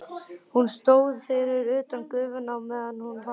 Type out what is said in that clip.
Hún stóð fyrir utan gufuna á meðan hún vatt.